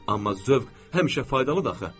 Amma zövq həmişə faydalıdır axı.